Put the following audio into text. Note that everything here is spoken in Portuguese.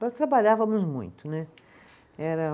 Nós trabalhávamos muito, né, era